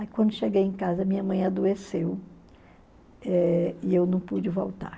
Aí quando cheguei em casa, minha mãe adoeceu eh e eu não pude voltar.